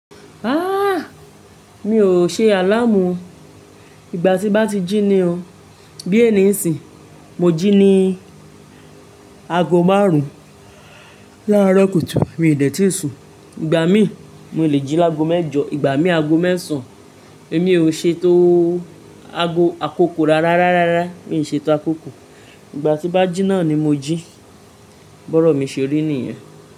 Haa! Mi ò ṣe àlàámù o. Ìgbà tí bá ti jí ni o. Bí ènì n sìn mo jí ni aago márùn-ún. Láro kùtù mi dẹ̀ tí ì sùn. Ìgbà mìí, mo le jí lágo méjọ. Ìgbà mìí, aago mẹ́sàn-án. Èmi ò ṣe tó aago-- àkóko rárá, rárá, mi ò ṣe tó àkóko. Ìgbà tí bá jí náà ni mo jí. Bọ́rọ̀ mi ṣeré nìyẹn.